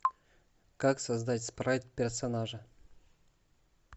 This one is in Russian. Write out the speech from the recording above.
как создать спрайт персонажи